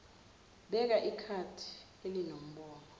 beka ikhadi elinembobo